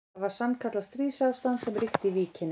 Það var sannkallað stríðsástand sem ríkti í Víkinni.